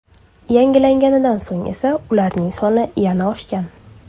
Yangilanganidan so‘ng esa ularning soni yana oshgan.